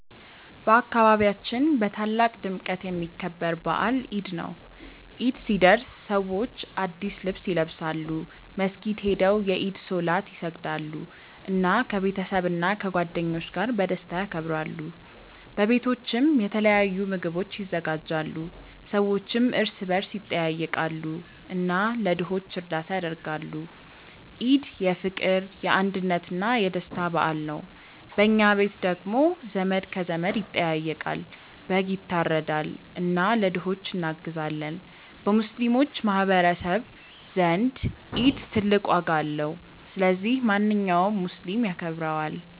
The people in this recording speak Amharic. በአካባቢያችን በታላቅ ድምቀት የሚከበር በዓል ኢድ ነው። ኢድ ሲደርስ ሰዎች አዲስ ልብስ ይለብሳሉ፣ መስጊድ ሄደው የኢድ ሶላት ይሰግዳሉ፣ እና ከቤተሰብና ከጓደኞች ጋር በደስታ ያከብራሉ። በቤቶችም የተለያዩ ምግቦች ይዘጋጃሉ፣ ሰዎችም እርስ በርስ ይጠያየቃሉ እና ለድሆች እርዳታ ያደርጋሉ። ኢድ የፍቅር፣ የአንድነት እና የደስታ በዓል ነው። በኛ ቤት ደግሞ ዘመድ ከዘመድ ይጠያየቃል፣ በግ ይታረዳል እና ለድሆች እናግዛለን። በሙስሊሞች ማህቀረሰብ ዘንድ ኢድ ትልቅ ዋጋ አለው። ስለዚህ ማንኛውም ሙስሊም ያከብረዋል።